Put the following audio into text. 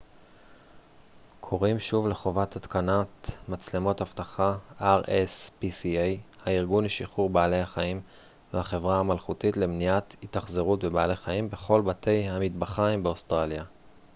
הארגון לשחרור בעלי החיים והחברה המלכותית למניעת התאכזרות בבעלי חיים rspca קוראים שוב לחובת התקנת מצלמות אבטחה בכל בתי המטבחיים באוסטרליה